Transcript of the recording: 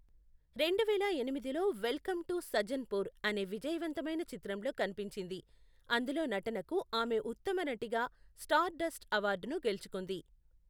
రెండువేల ఎనిమిదిలో welcome to Sajjanpur అనే విజయవంతమైన చిత్రంలో కనిపించింది, అందులో నటనకు ఆమె ఉత్తమ నటిగా స్టార్ డస్ట్ అవార్డును గెలుచుకుంది.